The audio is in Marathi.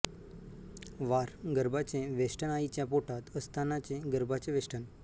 वार गर्भाचे वेष्टन आईच्या पोटात असतानाचे गर्भाचे वेष्टन